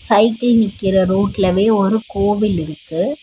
Cycle நிக்கிற ரோட்லவே ஒரு கோவில் இருக்கு.